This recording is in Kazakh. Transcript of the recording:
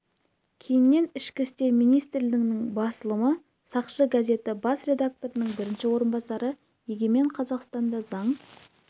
кейіннен ішкі істер министрлігінің басылымы сақшы газеті бас редакторының бірінші орынбасары егемен қазақстанда заң